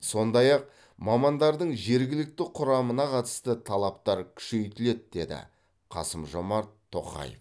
сондай ақ мамандардың жергілікті құрамына қатысты талаптар күшейтіледі деді қасымжомарт тоқаев